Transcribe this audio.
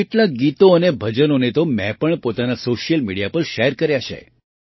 કેટલાંક ગીતો અને ભજનોને તો મેં પણ પોતાના સૉશિયલ મીડિયા પર શૅર કર્યાં છે